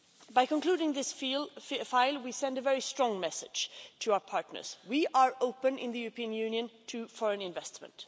By concluding this file we send a very strong message to our partners. We are open in the European Union to foreign investment.